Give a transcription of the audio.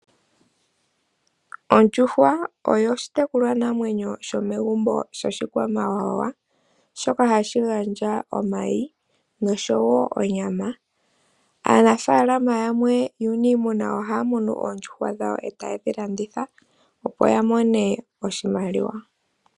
Ondjuhwa oyo oshitekulwa namwenyo shomegumbo sho shikwamawawa shoka hashi gandja omayi, noshowo onyama. Aanafaalama yamwe yuuniimuna ohaya munu oondjuhwa dhawo eta yedhi landitha, opo ya mone iimaliwa.